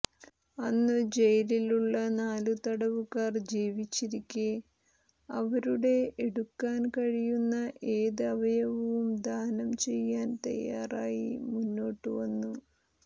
അന്നു ജയിലിലുള്ള നാലു തടവുകാർ ജീവിച്ചിരിക്കെ അവരുടെ എടുക്കാൻ കഴിയുന്ന ഏത് അവയവവും ദാനം ചെയ്യാൻ തയ്യാറായി മുമ്പോട്ടു വന്നു